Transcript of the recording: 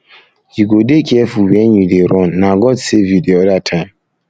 you um go dey careful wen you dey run na god save you the other time